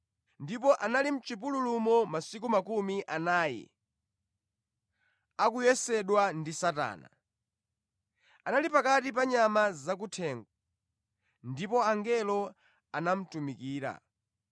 ndipo anali mʼchipululumo masiku makumi anayi, akuyesedwa ndi Satana. Anali pakati pa nyama zakuthengo; ndipo angelo anamutumikira.